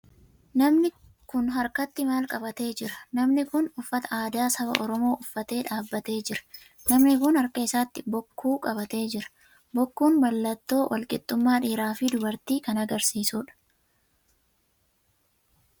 Namni kun harkatti maal qabatee jira? Namni kun uffata aadaa saba oromoo uffatee dhaabbatee jira. Namni kun harka isaatti bokkuu qabatee jira. Bokkuun mallattoo walqixxummaa dhiiraa fi dubartii kan agarsiisudha.